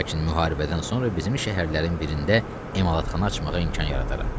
Lakin müharibədən sonra bizim şəhərlərin birində emalatxana açmağa imkan yaradaram.